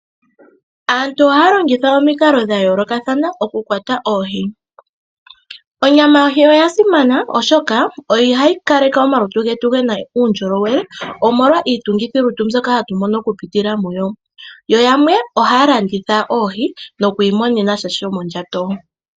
Aantu ohaya longitha omikalo dha yoolokathana oku kwata oohi. Onyama yohi oya simana, oshoka oha yi kaleke omalutu getu gena uundjolowele omolwa iitungithi lutu mbyoka hatu mono oku pitila muyo, yo yamwe ohaya landitha oohi noku imonenamo sha sho ndjato.